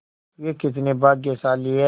वे कितने भाग्यशाली हैं